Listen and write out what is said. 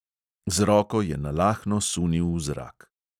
Z roko je nalahno sunil v zrak.